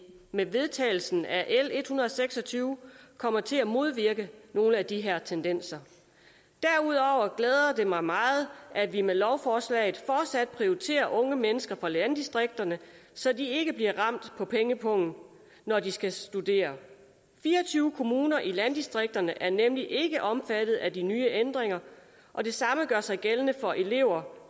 med vedtagelsen af l en hundrede og seks og tyve kommer til at modvirke nogle af de her tendenser derudover glæder det mig meget at vi med lovforslaget fortsat prioriterer unge mennesker fra landdistrikterne så de ikke bliver ramt på pengepungen når de skal studere fire og tyve kommuner i landdistrikterne er nemlig ikke omfattet af de nye ændringer og det samme gør sig gældende for elever